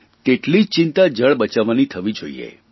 તેટલી જ ચિંતા જળ બચાવવાની થવી જોઇએ